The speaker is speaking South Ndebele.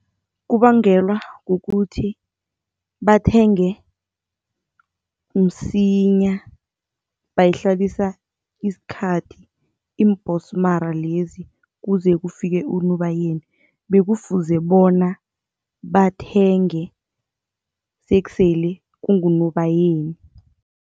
Kubangelwa kukuthi bathenge msinya bayihlalisa isikhathi iimbhonsmara lezi kuze kufike uNobayeni, bekufuze bona bathenge sekusele kunguNobayeni.